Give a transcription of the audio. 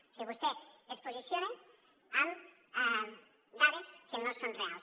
o sigui vostè es posiciona amb dades que no són reals